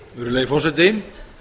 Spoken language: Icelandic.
virðulegi forseti